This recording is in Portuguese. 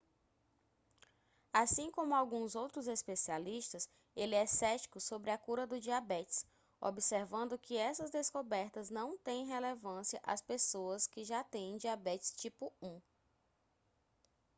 assim como alguns outros especialistas ele é cético sobre a cura do diabetes observando que essas descobertas não têm relevância às pessoas que já têm diabetes tipo 1